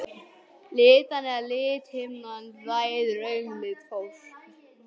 Litan eða lithimnan ræður augnlit fólks.